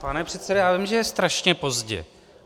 Pane předsedo, já vím, že je strašně pozdě.